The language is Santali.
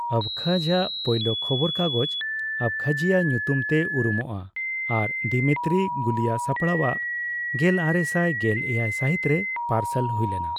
ᱟᱵᱠᱷᱟᱡ ᱟᱜ ᱯᱳᱭᱞᱳ ᱠᱷᱚᱵᱚᱨ ᱠᱟᱜᱚᱡᱽ, ᱟᱵᱠᱷᱟᱡᱤᱭᱟ ᱧᱩᱛᱩᱢᱛᱮ ᱩᱨᱩᱢᱚᱜᱼᱟ ᱟᱨ ᱫᱤᱢᱤᱛᱨᱤ ᱜᱩᱞᱤᱭᱟ ᱥᱟᱯᱲᱟᱣᱟᱜ, ᱜᱮᱞᱟᱨᱮᱥᱟᱭ ᱜᱮᱞ ᱮᱭᱟᱭ ᱥᱟᱹᱦᱤᱛᱨᱮ ᱯᱟᱨᱥᱟᱞ ᱦᱩᱭᱞᱮᱱᱟ ᱾